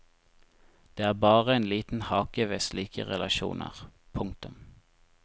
Det er bare en liten hake ved slike relasjoner. punktum